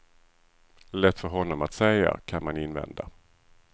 Lätt för honom att säga, kan man invända.